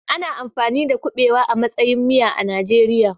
Ana amfani da kuɓewa a matsayin miya a Najeriya.